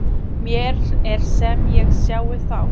Mér er sem ég sjái þá